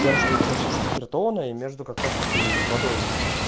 тем что у тебя сейчас заспиртованное между как раз таки и водой